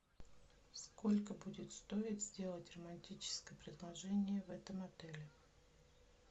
сколько будет стоить сделать романтическое предложение в этом отеле